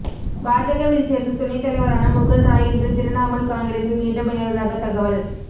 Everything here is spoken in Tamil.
பாஜகவில் சேர்ந்து துணைத்தலைவரான முகுல் ராய் இன்று திரிணாமுல் காங்கிரசில் மீண்டும் இணைவதாக தகவல்